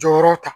Jɔyɔrɔ ta